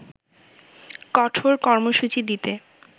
কঠোর কর্মসূচি দিতে